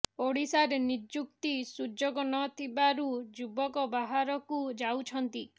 ଓଡ଼ିଶାରେ ନିଯୁକ୍ତି ସୁଯୋଗ ନ ଥିବାରୁ ଯୁବକ ବାହାରକୁ ଯାଉଛନ୍ତି